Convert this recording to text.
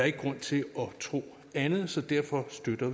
ikke grund til at tro andet så derfor støtter